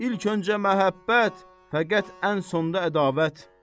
İlk öncə məhəbbət, fəqət ən sonda ədavət.